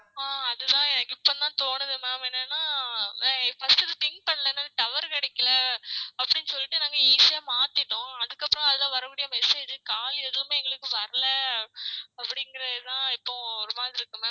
ஆஹ் அதுதான் இப்போந்தான் தோணுது ma'am எனென்னா first இத think பண்ணல tower கிடைக்கல அப்டின்னு சொல்லிட்டு நாங்க easy ஆ மாத்திட்டோம் அதுக்கு அப்றோம் அதுல வரக்கூடிய message call எதுவுமே எங்களுக்கு வரல அப்டிங்ககுறது தான் இப்போ ஒரு மாதிரி இருக்கு ma'am